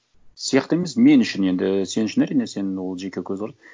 сияқты емес мен үшін енді сен үшін әрине сенің ол жеке көзқарас